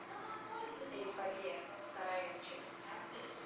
эйфория вторая часть